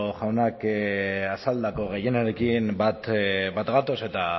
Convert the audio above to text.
jaunak azaldutako gehienarekin bat gatoz eta